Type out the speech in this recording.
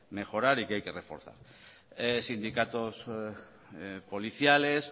mejorar y que hay que reforzar sindicatos policiales